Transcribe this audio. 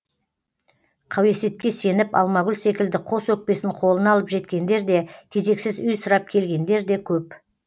қауесетке сеніп алмагүл секілді қос өкпесін қолына алып жеткендер де кезексіз үй сұрап келгендер де көп